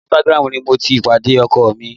Orí Instagram ni mo ti pàdé ọkọ mi